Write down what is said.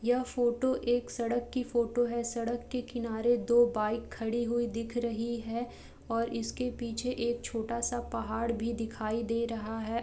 यह फ़ोटो एक सड़क की फ़ोटो है सड़क के किनारे दो बाइक खड़ी हुई दिख रही हैं और इसके पीछे एक छोटा सा पहाड़ भी दिखाई दे रहा है।